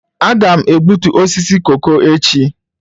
Aga m egbutu osisi koko echi.